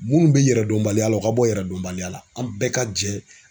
Minnu bɛ yɛrɛdɔnbaliya la u ka bɔ yɛrɛdonbaliya la an bɛɛ ka jɛ